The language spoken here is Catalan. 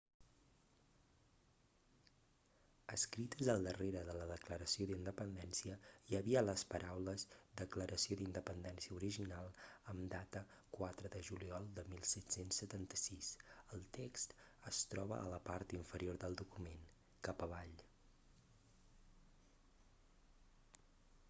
escrites al darrere de la declaració d'independència hi havia les paraules declaració d'independència original amb data 4 de juliol de 1776 el text es troba a la part inferior del document cap avall